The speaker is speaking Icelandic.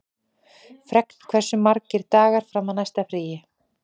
Fregn, hversu margir dagar fram að næsta fríi?